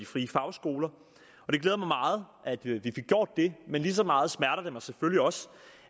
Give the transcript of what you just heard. frie fagskoler det glæder mig meget at vi fik gjort det men lige så meget smerter det mig selvfølgelig også